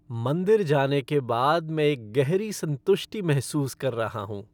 मंदिर जाने के बाद मैं एक गहरी संतुष्टि महसूस कर रहा हूं।